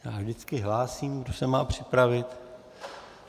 Já vždycky hlásím, kdo se má připravit.